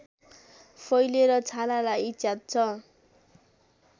फैलेर छालालाई च्यात्छ